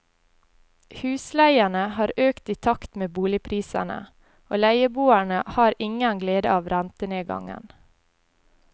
Husleiene har økt i takt med boligprisene, og leieboerne har ingen glede av rentenedgangen.